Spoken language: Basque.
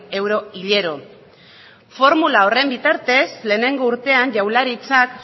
euro hilero formula horren bitartez lehenengo urtean jaurlaritzak